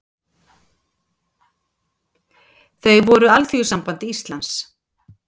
Þau voru Alþýðusamband Íslands